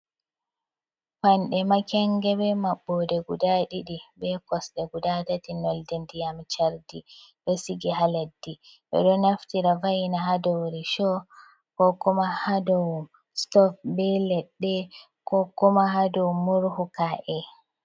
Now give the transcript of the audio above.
Payanɗe makenge be maɓbode guda ɗiɗi be kosɗe guda tati nolde ndiyam chardi, ɗo sigi ha leddi ɓeɗo naftira va'ina hadow rashow ko kuma hadow stof be ledde ko kuma ha dow murhu ka’e.